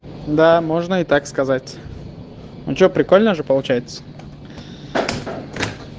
да можно и так сказать ну что прикольно же получается